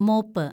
mop